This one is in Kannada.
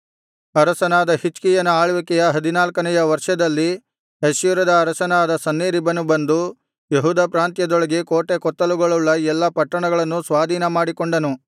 ಅರಸನಾದ ಹಿಜ್ಕೀಯನ ಆಳ್ವಿಕೆಯ ಹದಿನಾಲ್ಕನೆಯ ವರ್ಷದಲ್ಲಿ ಅಶ್ಶೂರದ ಅರಸನಾದ ಸನ್ಹೇರೀಬನು ಬಂದು ಯೆಹೂದ ಪ್ರಾಂತ್ಯದೊಳಗೆ ಕೋಟೆಕೊತ್ತಲುಗಳುಳ್ಳ ಎಲ್ಲಾ ಪಟ್ಟಣಗಳನ್ನು ಸ್ವಾಧೀನಮಾಡಿಕೊಂಡನು